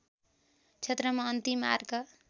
क्षेत्रमा अन्तिम आर्क